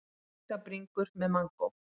Kjúklingabringur með mangó